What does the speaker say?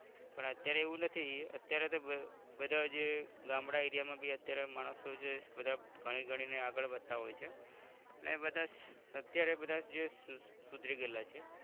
પણ અત્યારે એવું નથી અત્યારે તો આહ બધા જે ગામડા area માં બી અત્યારે માણસો જે બધા ભણી ગણી ને આગળ વધતાં હોય છે ને બધાજ અત્યારે બધા જે સુધરી ગયેલા છે